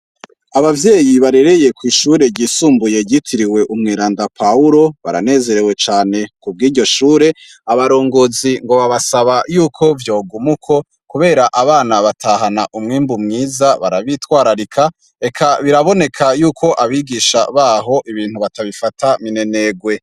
Abavyeyi barereye kw'ishure ryisumbuye ryitiriwe umweranda Pawulo baranezerewe cane ku bw'iryo shure abarongozi ngo babasaba yuko vyoguma uko kubera abana batahana umwimbu mwiza barabitwararika eka biraboneka yuko abigisha baho ibintu batabifata minenegwe.